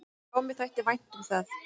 """Já, mér þætti vænt um það."""